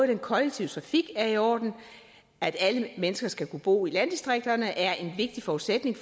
den kollektive trafik er i orden for at alle mennesker skal kunne bo i landdistrikterne er det en vigtig forudsætning